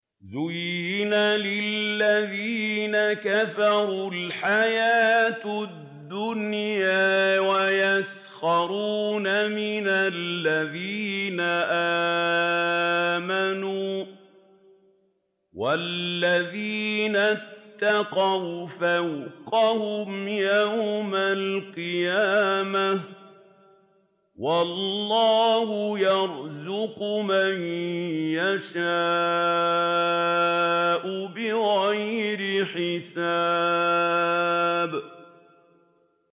زُيِّنَ لِلَّذِينَ كَفَرُوا الْحَيَاةُ الدُّنْيَا وَيَسْخَرُونَ مِنَ الَّذِينَ آمَنُوا ۘ وَالَّذِينَ اتَّقَوْا فَوْقَهُمْ يَوْمَ الْقِيَامَةِ ۗ وَاللَّهُ يَرْزُقُ مَن يَشَاءُ بِغَيْرِ حِسَابٍ